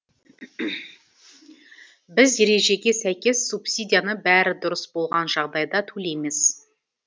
біз ережеге сәйкес субсидияны бәрі дұрыс болған жағдайда төлейміз